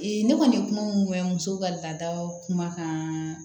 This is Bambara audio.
ne kɔni kuma mun mɛn muso ka laada kumakan